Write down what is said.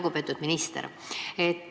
Lugupeetud minister!